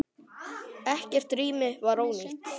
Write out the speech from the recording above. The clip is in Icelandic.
Ekkert rými var ónýtt.